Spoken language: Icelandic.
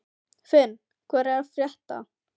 Finn, hvað er að frétta?